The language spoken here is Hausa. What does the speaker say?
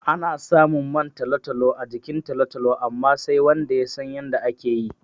Ana samun man talo-talo a jikin talo-talo amma, sai wanda ya san yadda ake yi.